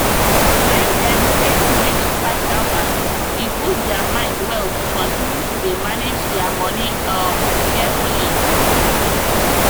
when dem save reach 5000 e boost their mind well to continue to dey manage their moni um carefully